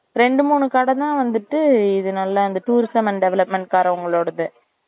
ரெண்டு மூணு கடைதான் வந்துட்டு இது நல்லா tourism and development காரங்களோடது